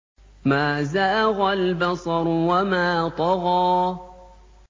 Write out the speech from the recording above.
مَا زَاغَ الْبَصَرُ وَمَا طَغَىٰ